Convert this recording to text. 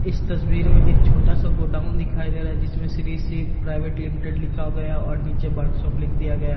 इस तस्वीर में एक छोटा सा गोडाउन दिखाई दे रहा है जिसमें श्री शिव प्राइवेट लिमिटेड लिखा गया और नीचे वर्क शॉप लिख दिया गया।